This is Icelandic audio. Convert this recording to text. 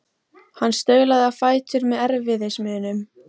Hann staulaðist á fætur með erfiðismunum.